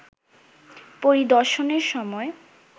পরিদর্শনের সময়